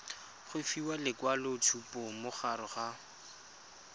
go fiwa lekwaloitshupo morago ga